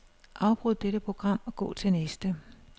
Afbryd dette program og gå til næste.